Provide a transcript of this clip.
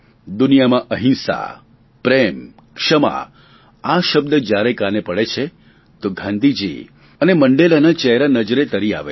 દુનિયામાં અહિંસા પ્રેમ ક્ષમા આ શબ્દ જ્યારે કાને પડે છે તો ગાંધીજી અને મંડેલાના ચહેરા નજરે તરી આવે છે